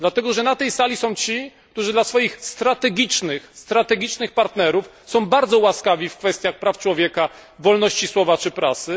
Dlatego, że na tej sali są ci, którzy dla swoich strategicznych partnerów są bardzo łaskawi w kwestiach praw człowieka, wolności słowa czy prasy.